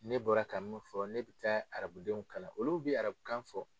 Ne bɔra ka min fɔ ne bɛ taa arabudenw kalan olu bi arabukan fɔ.